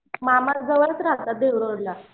मामा जवळच राहतात धुळे रोडला